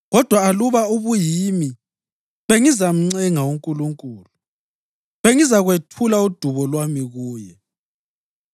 Kodwa aluba ubuyimi, bengizamncenga uNkulunkulu; bengizakwethula udubo lwami kuye.